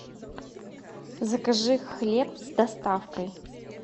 закажи хлеб с доставкой